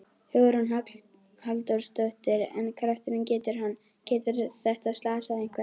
Hugrún Halldórsdóttir: En krafturinn, getur hann, getur þetta slasað einhvern?